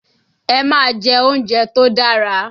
Ẹ máa jẹ́ oúnjẹ tó dára!